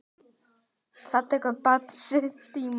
Það tekur bara sinn tíma.